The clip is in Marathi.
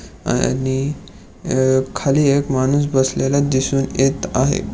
आणि अ खाली एक माणूस बसलेला दिसून येत आहे.